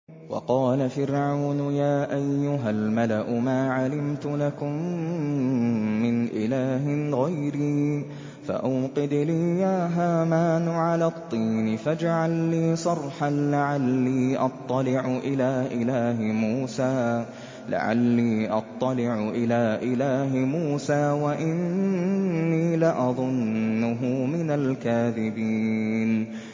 وَقَالَ فِرْعَوْنُ يَا أَيُّهَا الْمَلَأُ مَا عَلِمْتُ لَكُم مِّنْ إِلَٰهٍ غَيْرِي فَأَوْقِدْ لِي يَا هَامَانُ عَلَى الطِّينِ فَاجْعَل لِّي صَرْحًا لَّعَلِّي أَطَّلِعُ إِلَىٰ إِلَٰهِ مُوسَىٰ وَإِنِّي لَأَظُنُّهُ مِنَ الْكَاذِبِينَ